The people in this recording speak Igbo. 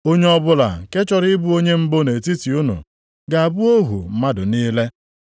Onye ọbụla nke chọrọ ịbụ onye mbụ nʼetiti unu, ga-abụ ohu mmadụ niile.